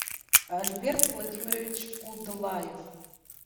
альберт владимирович кудлаев